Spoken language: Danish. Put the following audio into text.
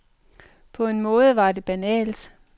På en måde var det banalt.